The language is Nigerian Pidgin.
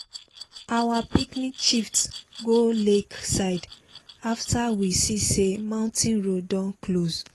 our picnic shift go lake side after we see say mountain road don close.